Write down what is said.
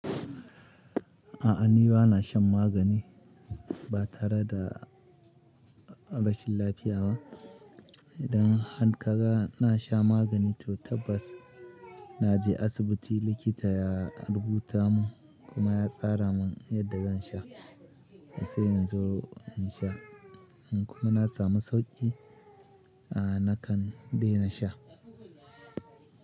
A'a ni ba na shan magani ba tare da rashin lafiya ba. Idan han kaga na sha magani to tabbas na je asibiti likita ya rubuta mun kuma ya tsara mun yadda zan sha, sai in zu in sha. Kuma na samu sauƙi a nakan daina sha.